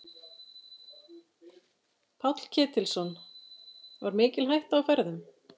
Páll Ketilsson: Var mikil hætta á ferðum?